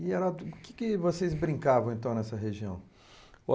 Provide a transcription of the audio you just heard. E Heródoto o que que vocês brincavam nessa região?